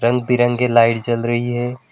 रंग बिरंगे लाइट जल रही है।